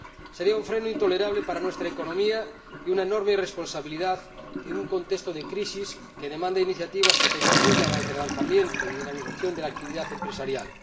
Sería un freno intolerable para nuestra economía y una enorme irresponsabilidad en un contexto de crisis que demanda iniciativas que contribuyan al relanzamiento y a la dinamización de la actividad empresarial.